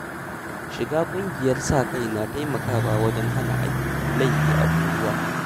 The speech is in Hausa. Shiga ƙungiyar sa-kai na taimakawa wajen hana ayyukan laifi a unguwa